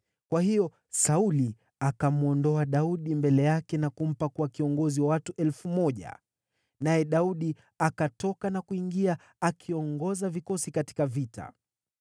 Kwa hiyo Sauli akamwondoa Daudi mbele yake na kumpa kuwa kiongozi wa watu elfu moja, naye Daudi akatoka na kuingia akiongoza vikosi katika vita.